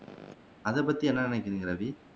அது பத்தி என்ன நினைக்குறீங்க ரவி